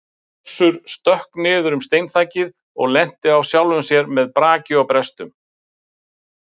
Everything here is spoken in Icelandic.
Össur stökk niður um steinþakið og lenti í sjálfum sér með braki og brestum.